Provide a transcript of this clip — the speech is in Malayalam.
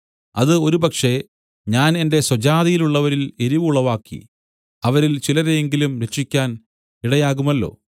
അത് ഒരുപക്ഷേ ഞാൻ എന്റെ സ്വജാതിയിലുള്ളവരിൽ എരിവ് ഉളവാക്കി അവരിൽ ചിലരെയെങ്കിലും രക്ഷിക്കാൻ ഇടയാകുമല്ലോ